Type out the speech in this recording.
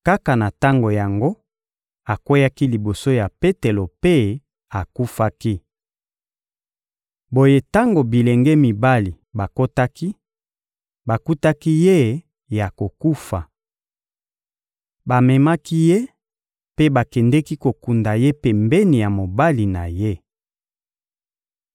Kaka na tango yango, akweyaki liboso ya Petelo mpe akufaki. Boye tango bilenge mibali bakotaki, bakutaki ye ya kokufa. Bamemaki ye mpe bakendeki kokunda ye pembeni ya mobali na ye.